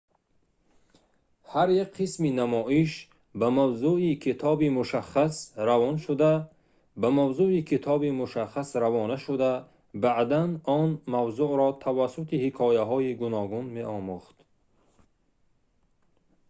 ҳар як қисми намоиш ба мавзӯи китоби мушаххас равона шуда баъдан он мавзӯъро тавассути ҳикояҳои гуногун меомӯхт